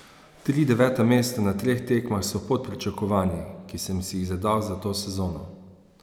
Tri deveta mesta na treh tekmah so pod pričakovanji, ki sem si jih zadal za to sezono.